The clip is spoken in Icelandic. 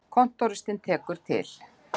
Kontóristinn tekur til.